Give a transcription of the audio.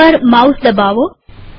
દોટ પર માઉસ દબાવો